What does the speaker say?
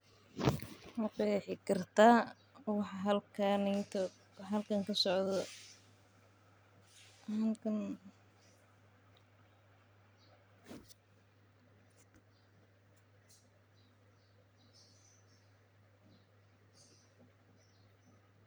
Maqexi kartaa waxa halkan kasocdo halkan waxaa kasocda .